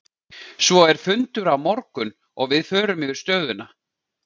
Svo er fundur á morgun og við förum yfir stöðuna.